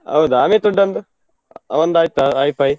ಹೌದಾ, ಅಮಿತ್ ಹೂಡಾನ್ದು ಅವಂದು ಆಯ್ತಾ high five?